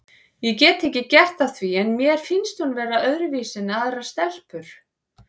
Ég get ekki gert að því en mér finnst hún vera öðruvísi en aðrar stelpur.